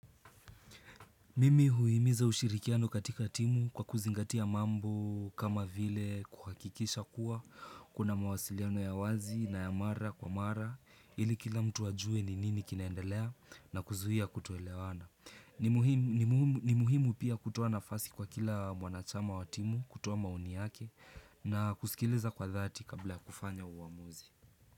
Mimi huimiza ushirikiano katika timu kwa kuzingatia mambo kama vile kuhakikisha kuwa kuna mawasiliano ya wazi na ya mara kwa mara ili kila mtu ajue ni nini kinaendelea na kuzuia kutoelewana. Ni muhimu pia kutuoa nafasi kwa kila mwanachama wa timu, kutoa maoni yake na kusikiliza kwa dhati kabla ya kufanya uamuzi.